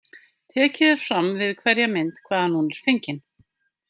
Tekið er fram við hverja mynd hvaðan hún er fengin.